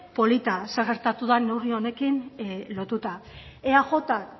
polita zer gertatu den neurri honekin lotuta eajk